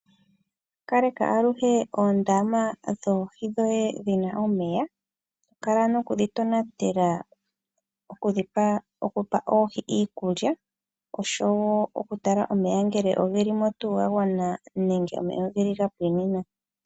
Kaleka aluhe oondama dhoohi dhoye dhi na omeya. To kala noku dhi tonatela okupa oohi iikulya, osho wo okutala ngele omeya oge li mo tuu ga gwana nenge oge li ga pwina mo.